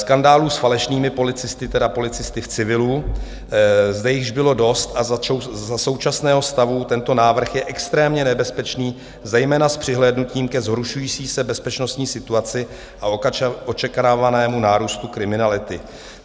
Skandálů s falešnými policisty, tedy policisty v civilu, zde již bylo dost a za současného stavu tento návrh je extrémně nebezpečný, zejména s přihlédnutím ke zhoršující se bezpečnostní situaci a očekávanému nárůstu kriminality.